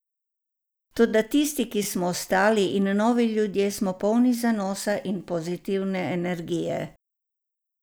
Toda tisti, ki smo ostali, in novi ljudje smo polni zanosa in pozitivne energije.